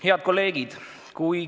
Head kolleegid!